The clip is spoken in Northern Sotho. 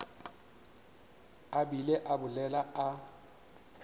a bile a bolela a